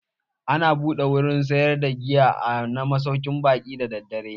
Ana buɗe wurin sayar da giya na masaukin baƙi da daddare.